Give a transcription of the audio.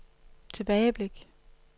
tilbageblik